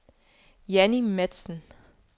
Janni Matzen